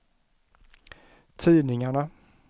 tidningarna